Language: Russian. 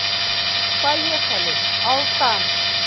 поехали алтан